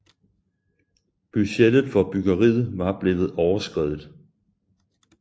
Budgettet for byggeriet var blevet overskredet